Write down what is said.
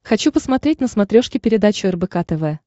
хочу посмотреть на смотрешке передачу рбк тв